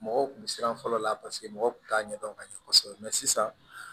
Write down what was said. Mɔgɔw kun bɛ siran fɔlɔ la paseke mɔgɔw kun t'a ɲɛdɔn ka ɲɛ kosɛbɛ mɛ sisan